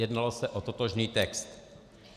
Jednalo se o totožný text.